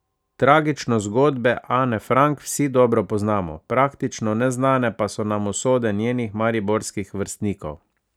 Tragično zgodbo Ane Frank vsi dobro poznamo, praktično neznane pa so nam usode njenih mariborskih vrstnikov.